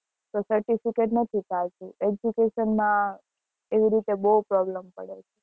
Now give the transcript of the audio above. તો certificate education માં એ રીતે બહુ problem પડે છે